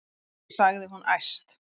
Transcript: sagði hún æst.